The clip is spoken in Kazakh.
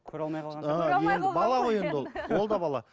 көре алмай қалған ол да бала